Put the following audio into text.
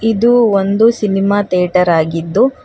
ಇದು ಒಂದು cinema theatre ಆಗಿದ್ದು--